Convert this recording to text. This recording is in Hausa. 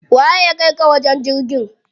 Waye ya kaika ka wajen jirgin?